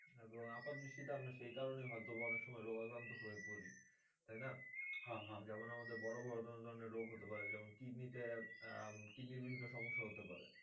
এবং আপাত দৃষ্টি তে আমরা সেই কারনে হয়তো বা অনেক সময় রোগ আক্রান্ত হয়ে পড়ি তাইনা? যেমন আমাদের বরাবরত অনেক রোগ হতে পারে, যেমন kidney তে আহ kidney র বিভিন্ন সমস্যা হতে পারে।